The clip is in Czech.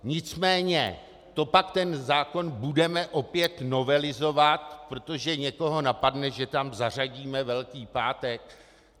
Nicméně to pak ten zákon budeme opět novelizovat, protože někoho napadne, že tam zařadíme Velký pátek?